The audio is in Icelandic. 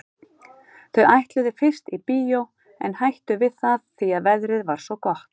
Þau ætluðu fyrst í bíó en hættu við það því að veðrið var svo gott.